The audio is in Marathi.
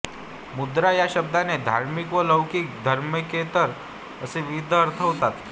मुद्रा या शब्दाचे धार्मिक व लौकिक धार्मिकेतर असे विविध अर्थ होतात